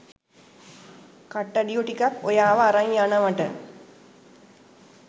කට්ටඩියෝ ටිකක් ඔයාව අරන් යනවට?